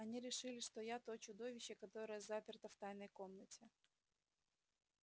они решили что я то чудовище которое заперто в тайной комнате